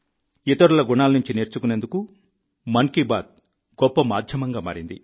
ఇతరుల గుణాల నుంచి నేర్చుకునేందుకు మన్ కీ బాత్ గొప్ప మాధ్యమంగా మారింది